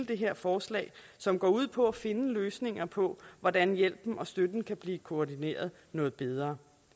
det her forslag som går ud på at finde løsninger på hvordan hjælpen og støtten kan blive koordineret noget bedre